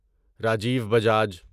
Rajiv Bajaj